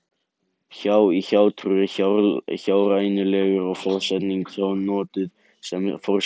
Hjá- í hjátrú og hjárænulegur er forsetningin hjá notuð sem forskeyti.